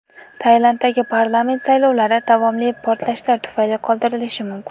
Tailanddagi parlament saylovlari davomli portlashlar tufayli qoldirilishi mumkin.